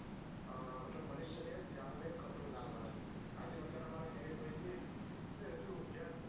અ મનુષ્ય ને જાન ને ખતરો ના બને આજ બચારા અમારા દિનેશભાઇ છે છે હજુ ઊગ્યા જ છ